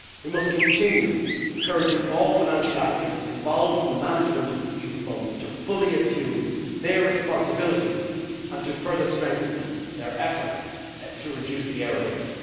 We must continue encouraging all financial actors involved in the management of EU funds to fully assume their responsibilities and to further strengthen their efforts to reduce the error rate.